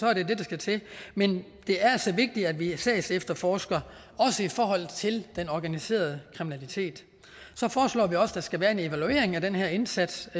er det det der skal til men det er altså vigtigt at vi sagsefterforsker også i forhold til den organiserede kriminalitet så foreslår vi også at der skal være en evaluering af den her indsats